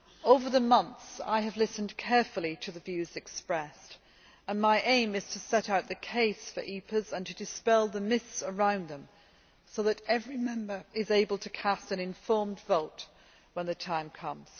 Over the months, I have listened carefully to the views expressed, and my aim is to set out the case for EPAs and to dispel the myths around them so that every Member is able to cast an informed vote when the time comes.